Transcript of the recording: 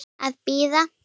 Að bíða.